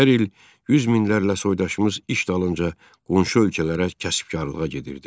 Hər il yüz minlərlə soydaşımız iş dalınca qonşu ölkələrə kəsəbkarağa gedirdi.